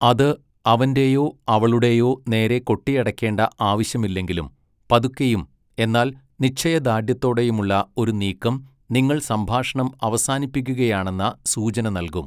അത് അവൻ്റെയോ അവളുടെയോ നേരെ കൊട്ടിയടക്കേണ്ട ആവശ്യമില്ലെങ്കിലും പതുക്കെയും എന്നാൽ നിശ്ചയദാർഢ്യത്തോടെയുമുള്ള ഒരു നീക്കം നിങ്ങൾ സംഭാഷണം അവസാനിപ്പിക്കുകയാണെന്ന സൂചന നൽകും.